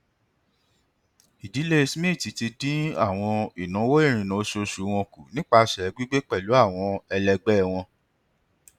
ìdílé smith ti dín àwọn ìnáwó ìrìnnà oṣooṣù wọn kù nípasẹ gbígbé pẹlú àwọn ẹlẹgbẹ wọn